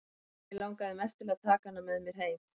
Já, mig langaði mest til að taka hana með mér heim.